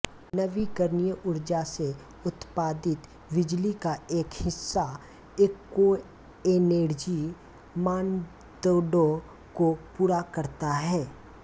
नवीकरणीय ऊर्जा से उत्पादित बिजली का एक हिस्सा एकोएनेर्जी मानदंडों को पूरा करता है